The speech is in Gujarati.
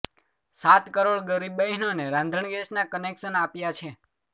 સાત કરોડ ગરીબ બહેનોને રાંધણ ગેસના કનેક્શન આપ્યા છે